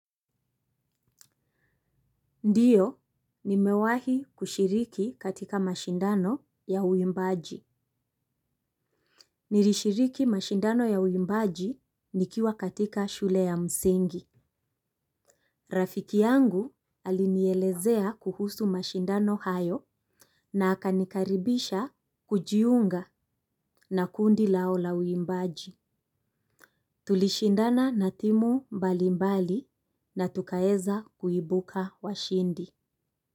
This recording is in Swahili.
Ndiyo, nimewahi kushiriki katika mashindano ya uimbaji. Nilishiriki mashindano ya uimbaji nikiwa katika shule ya msingi. Rafiki yangu alinielezea kuhusu mashindano hayo na akanikaribisha kujiunga na kundi lao la uimbaji. Tulishindana na timu mbalimbali na tukaeza kuibuka washindi.